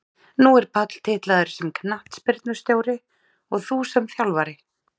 Nú er Páll titlaður sem knattspyrnustjóri og þú sem þjálfari?